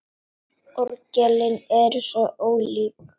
Orgelin eru svo ólík.